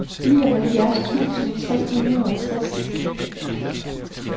nioghalvfjerds tusind tre hundrede og tres